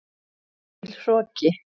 Of mikill hroki.